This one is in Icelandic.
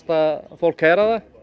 fólk heyra það